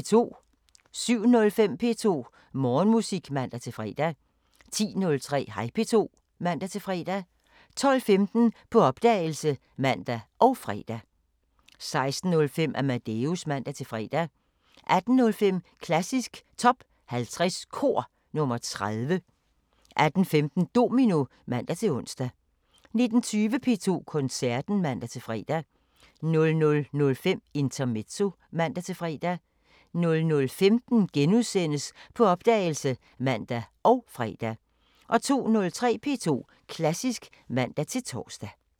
07:05: P2 Morgenmusik (man-fre) 10:03: Hej P2 (man-fre) 12:15: På opdagelse (man og fre) 16:05: Amadeus (man-fre) 18:05: Klassisk Top 50 Kor – nr. 30 18:15: Domino (man-ons) 19:20: P2 Koncerten (man-fre) 00:05: Intermezzo (man-fre) 00:15: På opdagelse *(man og fre) 02:03: P2 Klassisk (man-tor)